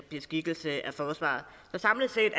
beskikkelse af forsvarer så samlet set